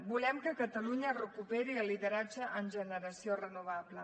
volem que catalunya recuperi el lideratge en generació renovable